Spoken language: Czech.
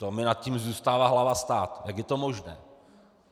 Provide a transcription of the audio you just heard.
To mi nad tím zůstává hlava stát, jak je to možné.